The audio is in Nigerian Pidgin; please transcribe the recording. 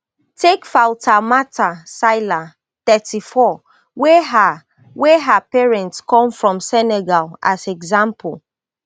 take fatoumata sylla thirty-four wey her wey her parents come from senegal as example